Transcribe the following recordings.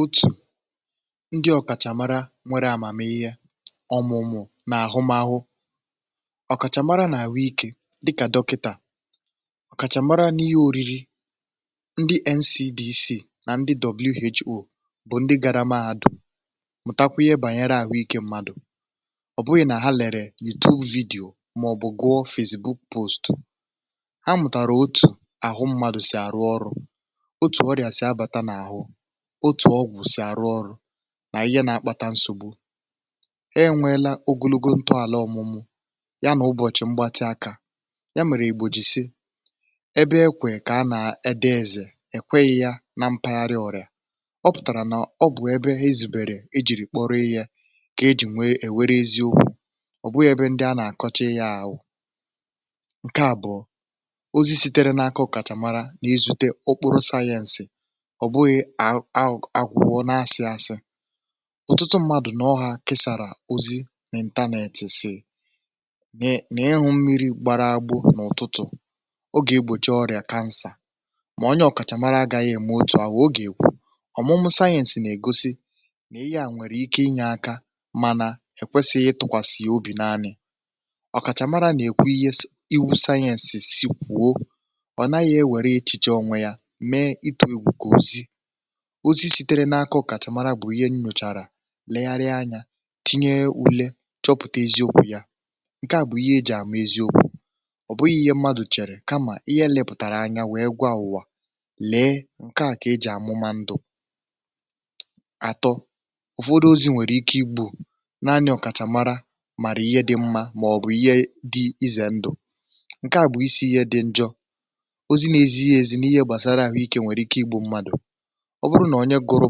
Otù ndị ọkàchà mara, ndị nwere amamihe ọmụmụ̀.. n’ahụmahụ, ọkàchà mara n’àhụike, ndị kà dọkịtà, ọkàchà mara n’ihe oriri um ndị NCDC na ndị WHO bụ ndị gara mahadum um mụtara ihe banyere ahụike mmadụ. Ọ bụghị nà ha lèrè YouTube vidiyò ma ọ bụ gụrụ Facebook post, um.. ha mụtara otu ahụ mmadụ si arụ ọrụ, otu ọgwụ si arụ ọrụ, na ihe na-akpata ọrịa. E nweela ogologo ntọala ọmụmụ̀ ha um na ọtụtụ ụbọchị mgbatị aka ha, nke mere ka e ji kpọrọ ha ọkàchàmara n’eziokwu. Ebe ekwe ka a na-ede eziokwu bụ na mpaghara ọrịa, ọ pụtara na ọ bụ ebe ha zuru um oke iji kpọrọ ihe, ka e nwee ntụkwasị obi na ihe ha na-ekwu. Ọ bụ ya mere, ndị a na-akọwa ihe gbasara ahụike, ọ̀ bụ ozi sitere n’aka ọkàchàmara n’izute ụkpụrụ sayẹ̀nsị ọ bụghị agwọ̀-agwọ̀ onwe onye ma ọ bụ asị-asị ụtụtụ mmadụ n’ọha kesara n’ịntanetị. um ụfọdụ ga-asị, “ị hụla mmiri gbara agbụ n’ụtụtụ, ọ na-egbochi ọrịa kansa.” Ma, onye ọkàchàmara agaghị ekwu otu ihe ahụ n’enweghị ọmụmụ sayẹ̀nsị n’azụ ya. Ọ ga-egosi ihe a nwalere, chọpụtara, legharịrị anya, wee kwado ya.Ọ bụ ihe a ka e ji amụ eziokwu um ọ bụghị ihe mmadụ chere n’obi, kamakwa ihe sayẹ̀nsị gosipụtara na ọ bụ eziokwu. Nke a bụ ihe eji amata ezi ndụ na ndụ efu. Ụfọdụ ozi n’ịntanetị nwere ike ịdị ka ihe ọma um ma, ọ bụrụ na onye ọkàchàmara kpọrọ ya ihe ize ndụ, ọ bụ n’eziokwu ihe ize ndụ. lee, ihe dị njọ bụ na ozi n’ezighi ezi gbasara ahụike nwere ike imerụ mmadụ ma ọ bụ ọbụna igbu ya. Dịka ọmụmaatụ, ọ bụrụ na onye gụrụ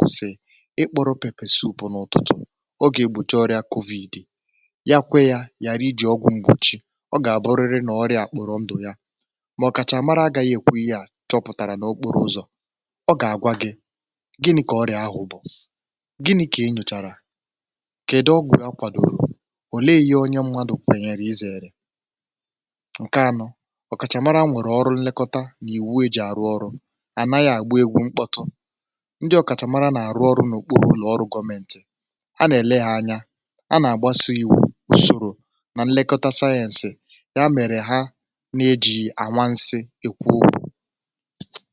post sị na “ịṅụ́ pepe-soup n’ụtụtụ ga-egbochi ọrịa COVID,” um o kwere ya, ghara iji ọgwụ mgbochi, ọ ga-abụrịrị na ọrịa ahụ ga-akpọrọ ndụ ya. N’ihi ya, ọkàchàmara agaghị ekwu ihe ahụ n’okporo ụzọ. (um)Ọ ga-agwa gị na ike ọrịa ahụ bụ ihe e nyochachara, kede, gụchaa, kwadoo. ihe dị mkpa bụ na ọkachamara anaghị egwu mkpọtụ, ha na-arụ ọrụ n’okpuru ụlọ ọrụ gọọmenti, n’ụlọ nyocha, na n’ebe e nwere iwu, usoro na nlekọta sayẹ̀nsị. um Nke a mere ka ihe ha na-ekwu bụrụ anwansi eziokwu, ọ bụghị anwansi okwu.